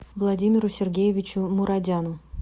владимиру сергеевичу мурадяну